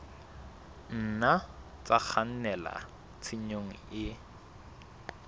nna tsa kgannela tshenyong e